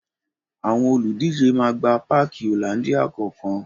Àwọn olùdíje máa gba páàki Hollandia kọ̀ọ̀kan